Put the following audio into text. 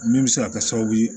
Min bɛ se ka kɛ sababu ye